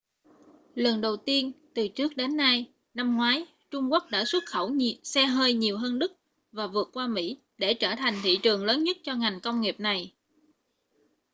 lần đầu tiên từ trước đến nay năm ngoái trung quốc đã xuất khẩu xe hơi nhiều hơn đức và vượt qua mỹ để trở thành thị trường lớn nhất cho ngành công nghiệp này